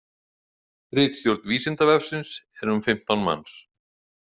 Ritstjórn Vísindavefsins er um fimmtán manns.